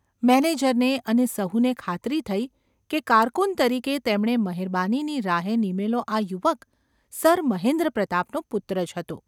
મેનેજરને અને સહુને ખાતરી થઈ કે કારકુન તરીકે તેમણે મહેરબાનીની રાહે નીમેલો આ યુવક સર મહેન્દ્રપ્રતાપનો પુત્ર જ હતો.